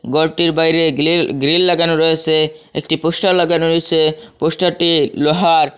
গরটির বাইরে grill grill লাগানো রয়েসে একটি পোস্টার লাগানো রয়েসে পোস্টার -টি লোহার।